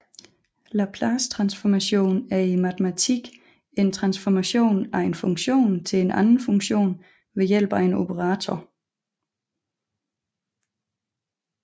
Laplacetransformation er i matematikken en transformation af en funktion til en anden funktion ved hjælp af en operator